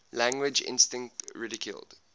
language instinct ridiculed